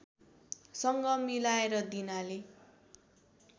सँग मिलाएर दिनाले